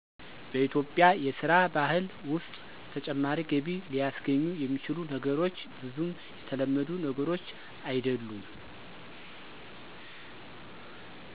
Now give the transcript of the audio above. በኢትዮጵያ የስራ ባህል ውስጥ ተጨማሪ ገቢ ሊስገኙ የሚችሉ ነገሮች ብዙም የተለመዱ ነገሮች አይድሉም።